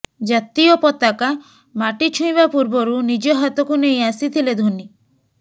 ଜାତୀୟ ପତାକା ମାଟି ଛୁଇଁବା ପୂର୍ବରୁ ନିଜ ହାତକୁ ନେଇ ଆସିଥିଲେ ଧୋନି